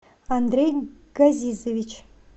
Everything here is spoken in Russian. андрей газизович